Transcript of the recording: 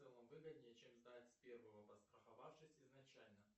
в целом выгоднее чем сдать с первого подстраховавшись изначально